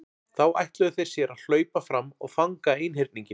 Þá ætluðu þeir sér að hlaupa fram og fanga einhyrninginn.